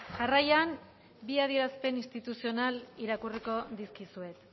jarraian bi adierazpena instituzional irakurriko dizkizuet